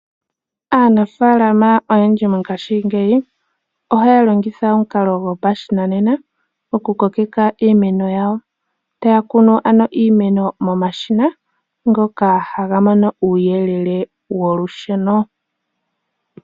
Aanafaalama oyendji mongashingeyi ohaya longitha omukalo go pashinanena oku kokeka iimeno yawo. Taya kunu ano iimeno mo mashina ngoka haga mono uuyelele wo lusheno.